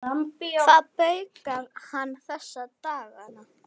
Hvað baukar hann þessa dagana?